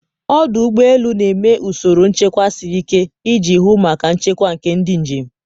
ọdụ ụgbọ elu na-eme usoro nchekwa siri ike iji hụ maka nchekwa nke ndị njem.